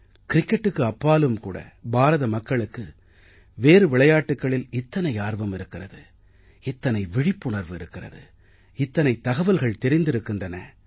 க்ரிக்கெட்டுக்கு அப்பாலும் கூட பாரத மக்களுக்கு வேறு விளையாட்டுக்களில் இத்தனை ஆர்வம் இருக்கிறது இத்தனை விழிப்புணர்வு இருக்கிறது இத்தனை தகவல்கள் தெரிந்திருக்கின்றன